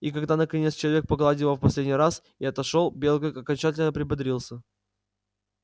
и когда наконец человек погладил его в последний раз и отошёл белый клык окончательно приободрился